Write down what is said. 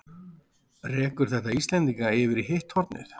Rekur þetta Íslendinga yfir í hitt hornið?